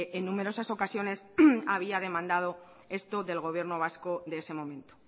en numerosas ocasiones había demandado esto del gobierno vasco de ese momento